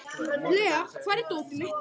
Lea, hvar er dótið mitt?